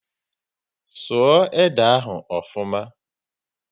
Sụọ ede ahu ofuma!